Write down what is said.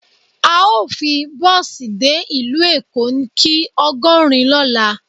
Ao fi bosi de ilu Eko ki ogorin lola